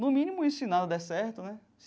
No mínimo isso, e se não der certo né.